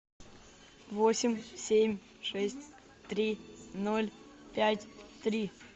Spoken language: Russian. восемь семь шесть три ноль пять три